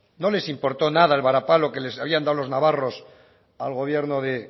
no les importó nada el varapalo que les habían dado los navarros al gobierno de